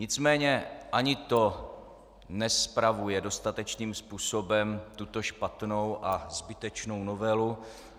Nicméně ani to nespravuje dostatečným způsobem tuto špatnou a zbytečnou novelu.